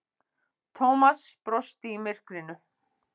Thomas brosti í myrkrinu.